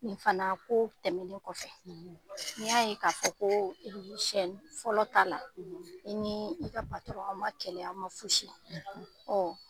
N fana ko tɛmɛnen kɔfɛ ni n y'a ye k'a fɔ ko fɔlɔ ta la i ni i ka an ma kɛlɛ an ma fosi